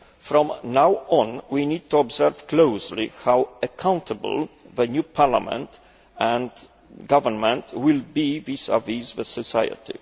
From now on, we need to observe closely how accountable the new parliament and government will be to society